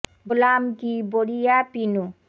গো লা ম কি ব রি য়া পি নু